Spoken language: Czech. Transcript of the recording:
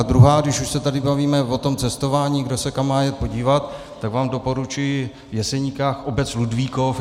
A druhá, když už se tady bavíme o tom cestování, kdo se kam má jet podívat, tak vám doporučuji v Jeseníkách obec Ludvíkov.